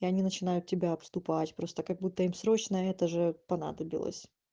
и они начинают тебя обступать просто как будто им срочно это же понадобилось